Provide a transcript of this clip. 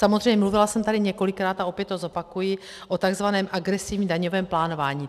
Samozřejmě mluvila jsem tady několikrát, a opět to zopakuji, o tzv. agresivním daňovém plánování.